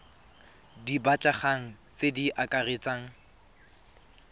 di batlegang tse di akaretsang